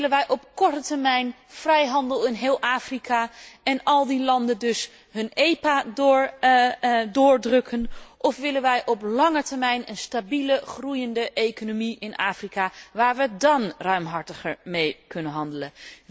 Willen wij op korte termijn vrijhandel in heel Afrika en bij al die landen dus hun EPA erdoor drukken, of willen wij op lange termijn een stabiele groeiende economie in Afrika, waar we dán ruimhartiger mee kunnen handelen?